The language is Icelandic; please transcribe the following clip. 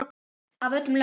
Af öllum löndum.